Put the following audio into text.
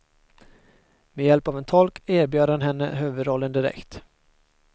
Med hjälp av en tolk erbjöd han henne huvudrollen direkt.